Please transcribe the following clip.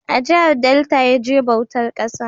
A jahar Delta ya je bautar ƙasa